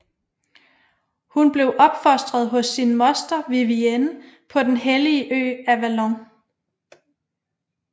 Hun blev opfostet hos sin moster Vivienne på den hellige ø Avalon